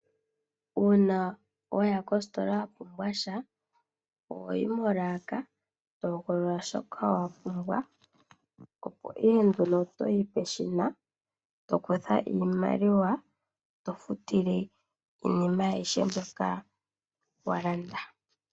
Uuna waya kositola wapumbwa sha, oho yi molaaka , eto hogolola shoka wapumbwa, opo ihe nduno toyi peshina , tokutha iimaliwa eto futile iinima aihe mboka walanda.